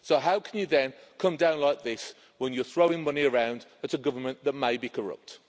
off. So how can you then come down like this when you're throwing money around at a government that may be corrupt?